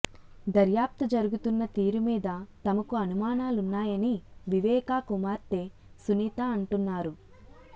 దర్యాప్తు జరుగుతున్న తీరు మీద తమకు అనుమానాలున్నాయని వివేకా కుమార్తె సునీత అంటున్నారు